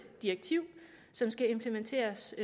direktiv som skal implementeres